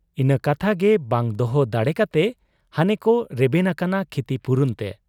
ᱤᱱᱟᱹ ᱠᱟᱛᱷᱟᱜᱮ ᱵᱟᱝ ᱫᱚᱦᱚ ᱫᱟᱲᱮ ᱠᱟᱛᱮ ᱦᱟᱱᱮᱠᱚ ᱨᱮᱵᱮᱱ ᱟᱠᱟᱱᱟ ᱠᱷᱤᱛᱤᱯᱩᱨᱚᱱ ᱛᱮ ᱾